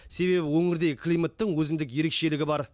себебі өңірдегі климаттың өзіндік ерекшелігі бар